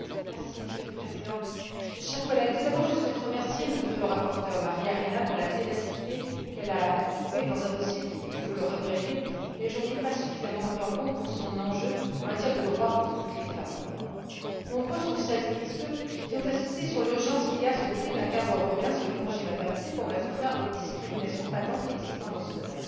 Monsieur le Président, chers collègues, je souhaite, tout d'abord, remercier notre rapporteure, Maria Arena, pour la ténacité dont elle a fait preuve dans un dossier qui il faut le regretter n'est pas suffisamment pris en compte aujourd'hui pour son enjeu en matière de droits pour toutes les femmes en Europe. Nombreux sont celles et ceux qui ont insisté sur l'urgence qu'il y a à se doter d'un cadre européen sur le congé de maternité pour mettre fin aux discriminations patentes existant dans ce domaine.